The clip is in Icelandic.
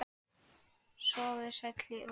Sofðu sæll í ró.